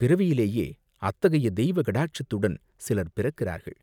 பிறவியிலேயே அத்தகைய தெய்வ கடாட்சத்துடன் சிலர் பிறக்கிறார்கள்.